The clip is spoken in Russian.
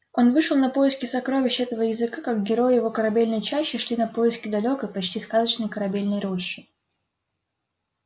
он вышел на поиски сокровищ этого языка как герои его корабельной чащи шли на поиски далёкой почти сказочной корабельной рощи